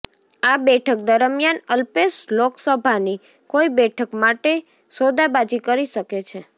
આ બેઠક દરમિયાન અલ્પેશ લોકસભાની કોઈ બેઠક માટે સોદાબાજી કરી શકે છે